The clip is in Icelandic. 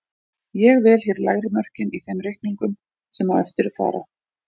Ég vel hér lægri mörkin í þeim reikningum sem á eftir fara.